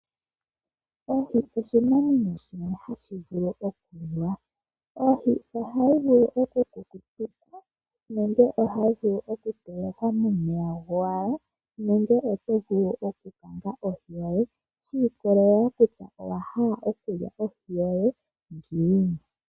Oohi oshinamwenyo shimwe hashi vulu okuliwa ,oohi ohadhi vulu okukutikwa nenge ohadhi vulu okutelekwa momeya gowala nenge oto vulu okukanga ohi yoye oshi ikolelea kutya owahala okulya ohi yoye ngiini.